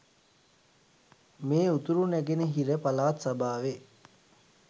මේ උතුරුනැගනහිර පළාත් සභාවේ